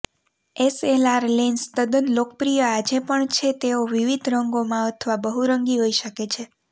SLR lens તદ્દન લોકપ્રિય આજે પણ છે તેઓ વિવિધ રંગોમાં અથવા બહુરંગી હોઈ શકે છે